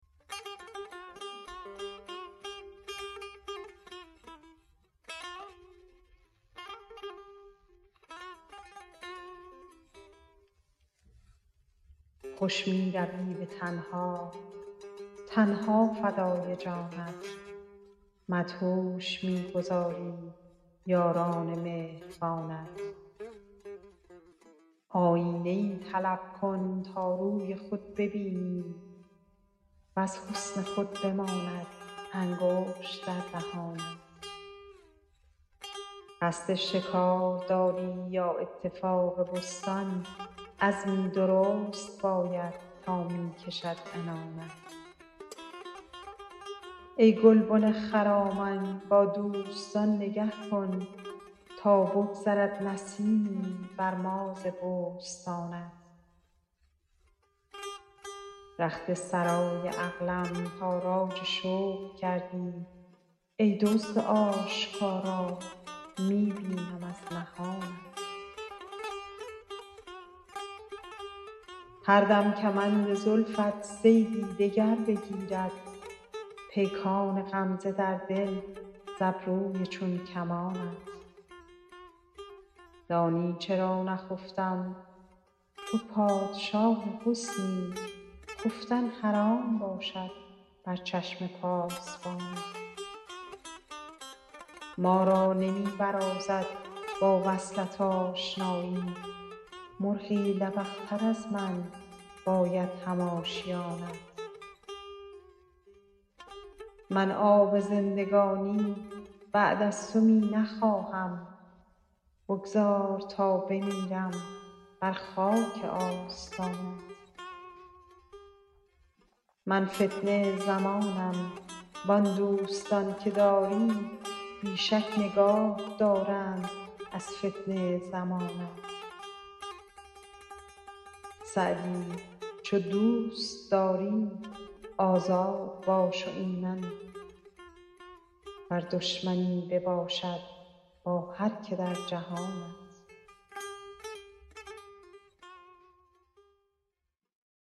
خوش می روی به تنها تن ها فدای جانت مدهوش می گذاری یاران مهربانت آیینه ای طلب کن تا روی خود ببینی وز حسن خود بماند انگشت در دهانت قصد شکار داری یا اتفاق بستان عزمی درست باید تا می کشد عنانت ای گلبن خرامان با دوستان نگه کن تا بگذرد نسیمی بر ما ز بوستانت رخت سرای عقلم تاراج شوق کردی ای دزد آشکارا می بینم از نهانت هر دم کمند زلفت صیدی دگر بگیرد پیکان غمزه در دل ز ابروی چون کمانت دانی چرا نخفتم تو پادشاه حسنی خفتن حرام باشد بر چشم پاسبانت ما را نمی برازد با وصلت آشنایی مرغی لبق تر از من باید هم آشیانت من آب زندگانی بعد از تو می نخواهم بگذار تا بمیرم بر خاک آستانت من فتنه زمانم وان دوستان که داری بی شک نگاه دارند از فتنه زمانت سعدی چو دوست داری آزاد باش و ایمن ور دشمنی بباشد با هر که در جهانت